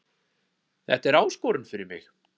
Þetta er áskorun fyrir mig